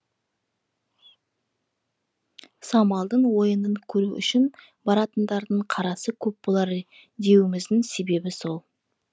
самалдың ойынын көру үшін баратындардың қарасы көп болары деуіміздің себебі сол